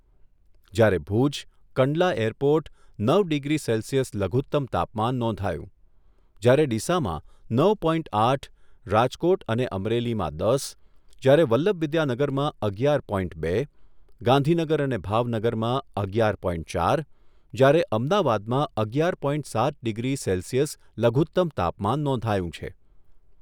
જ્યારે ભૂજ, કંડલા એરપોર્ટ નવ degree celsius લઘુત્તમ તાપમાન નોંધાયું, જ્યારે ડીસામાં નવ પોઇન્ટ આઠ, રાજકોટ અને અમરેલીમાં દસ, જ્યારે વલ્લભવિદ્યાનગરમાં અગિયાર પોઇન્ટ બે, ગાંધીનગર અને ભાવનગરમાં અગિયાર પોઇન્ટ ચાર જ્યારે અમદાવાદમાં અગિયાર પોઇન્ટ સાત ડિગ્રી સેલ્સિયસ લઘુત્તમ તાપમાન નોંધાયું છે.